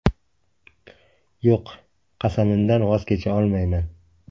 Yo‘q, qasamimdan voz kecha olmayman.